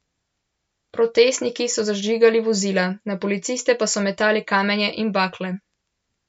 Protestniki so zažigali vozila, na policiste pa so metali kamenje in bakle.